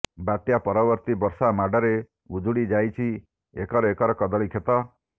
ବାତ୍ୟା ପରବର୍ତ୍ତୀ ବର୍ଷା ମାଡ଼ରେ ଉଜୁଡ଼ିଯାଇଛି ଏକର ଏକର କଦଳୀ କ୍ଷେତ